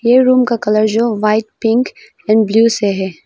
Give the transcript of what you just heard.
ये रूम का कलर जो वाइट पिंक एंड ब्लू से है।